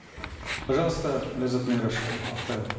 пожалуйста ляззат мейрашевна актаева